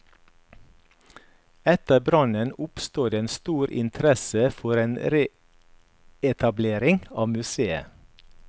Etter brannen oppsto det en stor interesse for en reetablering av museet.